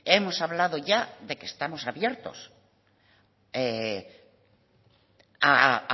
hemos hablado ya de que estamos abiertos a